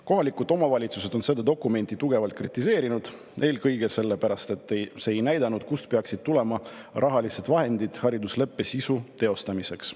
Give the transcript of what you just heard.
Kohalikud omavalitsused on seda dokumenti tugevalt kritiseerinud, eelkõige sellepärast, et see ei näidanud, kust peaksid tulema rahalised vahendid haridusleppe täitmiseks.